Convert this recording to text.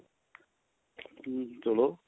ਹਮ ਚਲੋ